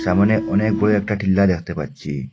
এমনই অনেক বড়ো একটা টিল্লা দেখতে পাচ্ছি।